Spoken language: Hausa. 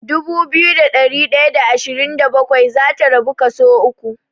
Dubu biyu da ɗari ɗaya da ashirin da bakwai zata rabu kaso uku.